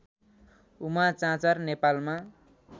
उमा चाँचर नेपालमा